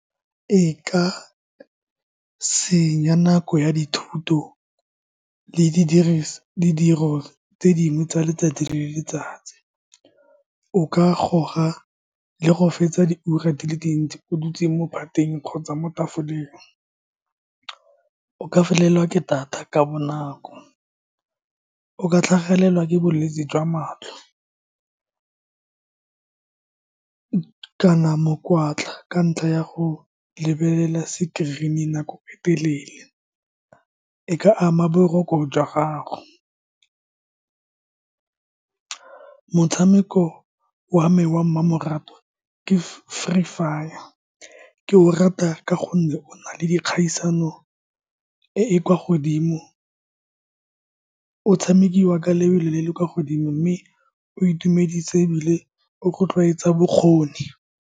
E ka senya nako ya dithuto le , ditiro tse dingwe tsa letsatsi le letsatsi. O ka goga le go fetsa diura di le dintsi o dutse mo bateng kgotsa mo tafoleng. O ka felelwa ke data ka bonako. O ka tlhagelwa ke bolwetse jwa matlho kana mokwatla ka ntlha ya go lebelela screen-e nako e telele. E ka ama boroko jwa gago. Motshameko wa me wa mmamoratwa ke Free Fire. Ke o rata ka gonne o na le dikgaisano e e kwa godimo, o tshamekiwa ka lobelo le le kwa godimo, mme o itumedisa ebile o rotloetsa bokgoni.